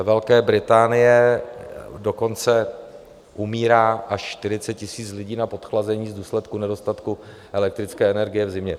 Ve Velké Británii dokonce umírá až 40 000 lidí na podchlazení v důsledku nedostatku elektrické energie v zimě.